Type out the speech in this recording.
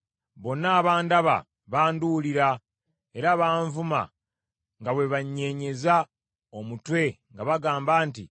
Bonna abandaba banduulira, era banvuma nga bwe banyeenyeza omutwe nga bagamba nti,